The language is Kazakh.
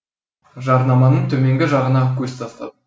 жарнаманың төменгі жағына көз тастадым